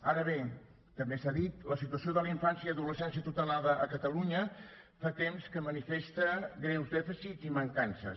ara bé també s’ha dit la situació de la infància i adolescència tutelada a catalunya fa temps que manifesta greus dèficits i mancances